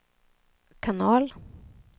kanal